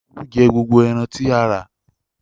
Olú jẹ gbogbo ẹran tí a rà.